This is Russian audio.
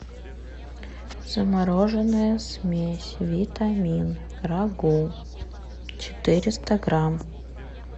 замороженная смесь витамин рагу четыреста грамм